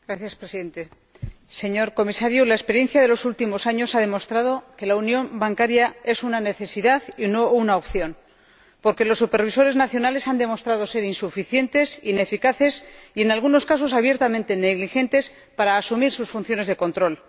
Señor Presidente, señor Comisario, la experiencia de los últimos años ha demostrado que la unión bancaria es una necesidad y no una opción, porque los supervisores nacionales han demostrado ser insuficientes, ineficaces y, en algunos casos, abiertamente negligentes para asumir sus funciones de control.